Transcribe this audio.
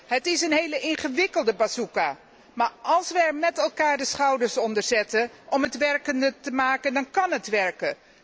Het is een hele ingewikkelde bazooka, maar als we er met elkaar de schouders onder zetten om het werkend te maken, dan kan het werken.